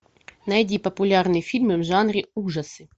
найди популярные фильмы в жанре ужасы